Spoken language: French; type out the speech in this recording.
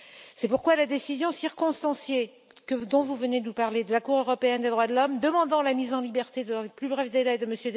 C'est pourquoi la décision circonstanciée, dont vous venez de nous parler, de la Cour européenne des droits de l'homme, demandant la mise en liberté dans les plus brefs délais de M.